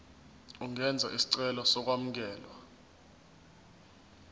ungenza isicelo sokwamukelwa